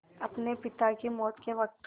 अपने पिता की मौत के वक़्त